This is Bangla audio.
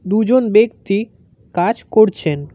দুজন ব্যক্তি কাজ করছেন।